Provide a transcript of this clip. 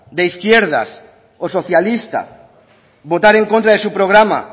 de izquierdas o socialista votar en contra de su programa